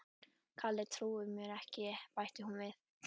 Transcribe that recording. Kalli trúir mér ekki bætti hún við.